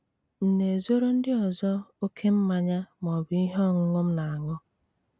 M̀ na-ezoro ndị ọzọ ókè mmanya ma ọ bụ ihe ọṅụṅụ m na-aṅụ?